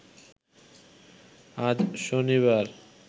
আজ শনিবার